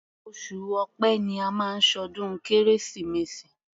Oṣù Ọ̀pẹ ni a máa ń ṣọdún Kérésìmesì.